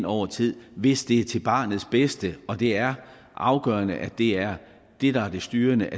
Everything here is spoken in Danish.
over tid hvis det er til barnets bedste og det er afgørende at det er det der er det styrende